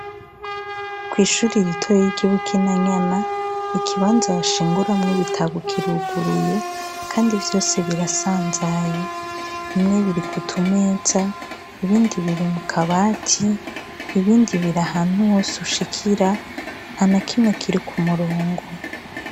Kwishure ritoyi ry' ibukiranyana ikibanza bashinguramwo ibitabo kiruguruye kandi vyose birasanzaye bimwe biri kumeza ibindi biri kukabati ibindi biri ahantu hose ushikira ntanakimwe kiri kumurongo.